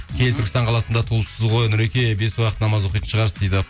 киелі түркістан қаласында туылыпсыз ғой нұреке бес уақыт намаз оқитын шығарсыз дейді